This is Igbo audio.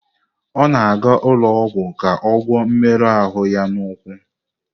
Ọ na-aga ụlọ ọgwụ ka ọ gwọọ mmerụ ahụ ya n'ụkwụ.